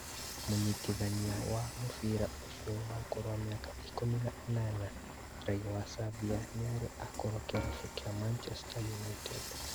Mũnyitithania wa mũbĩra ũcio wa ũkũrũ wa mĩaka ikũmi na ĩnana raiya wa Serbia nĩarĩ akorwo kĩrabu kĩa Manchester United